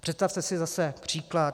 Představte si zase příklad.